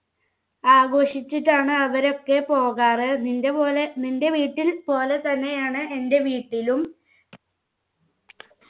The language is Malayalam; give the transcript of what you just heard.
ആഘോഷിച്ചിട്ടാണ് അവരൊക്കെ പോകാറ് നിന്‍റെ പോലെ നിൻ്റെ വീട്ടിൽ പോലെ തന്നെയാണ് എന്റെ വീട്ടിലും